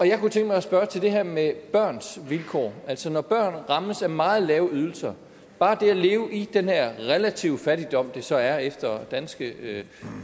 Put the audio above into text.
jeg kunne tænke mig at spørge til det her med børns vilkår altså når børn rammes af meget lave ydelser bare det at leve i den her relative fattigdom det så er efter danske